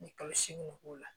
Ni kalo segin k'o la